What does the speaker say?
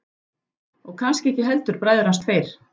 Og kannski ekki heldur bræður hans tveir.